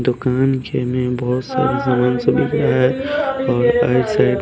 दुकान के में बहुत सारी सामान सुविधा है और आई साइड --